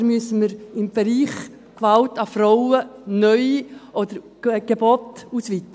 Oder müssen wir im Bereich Gewalt an Frauen neue Angebote schaffen oder bestehende ausweiten?